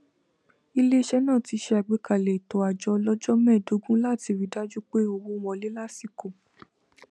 ilé iṣẹ náà ti ṣe àgbékalẹ ètò àjọ ọlọjọ mẹẹdógún láti ri í dájú pé owó n wọlé lásìkò